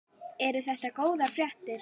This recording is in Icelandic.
Eru þetta góðar fréttir?